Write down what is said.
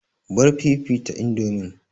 Bar fifita indomin!